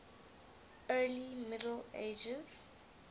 early middle ages